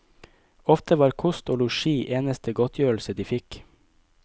Ofte var kost og losji eneste godtgjørelse de fikk.